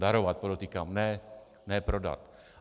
Darovat, podotýkám, ne prodat.